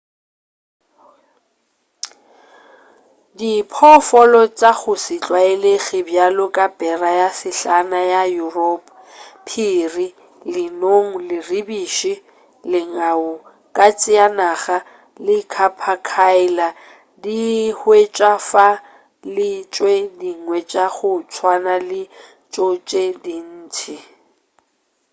diphoofolo tša go se tlwaelege bjalo ka bera ye sehlana ya yuropa phiri lenong leribiši lengau katse ya naga le capercaillie di ka hwetšwa fa le tše dingwe tša go tswana le tšo tše dintši